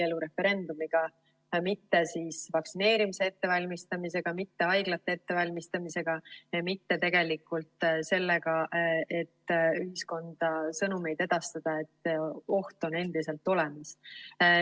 Abielureferendumiga, mitte vaktsineerimise ettevalmistamisega, mitte haiglate ettevalmistamisega, mitte sellega, et ühiskonda sõnumeid edastada, et oht on endiselt olemas.